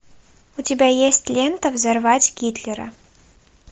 у тебя есть лента взорвать гитлера